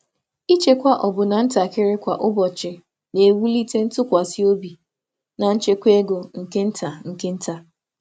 Ịchekwa ọbụlagodi ntakịrị kwa ụbọchị na-ewulite ntụkwasị obi na nchekwa ego nke nta nke nta.